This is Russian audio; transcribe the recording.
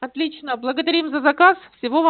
отлично благодарим за заказ всего вам